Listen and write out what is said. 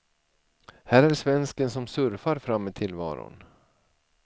Här är svensken som surfar fram i tillvaron.